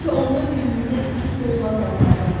Bəlkə onda günümüzə iki dollar qazandıq.